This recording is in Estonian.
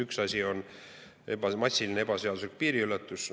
Üks asi on massiline ebaseaduslik piiriületus.